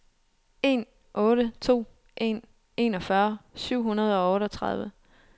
en otte to en enogfyrre syv hundrede og otteogtredive